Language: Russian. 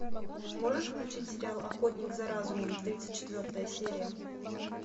можешь включить сериал охотник за разумом тридцать четвертая серия